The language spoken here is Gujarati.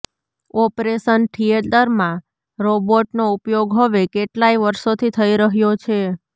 ઓપરેશન થિયેટરમાં રોબોટનો ઉપયોગ હવે કેટલાય વર્ષોથી થઈ રહ્યો છે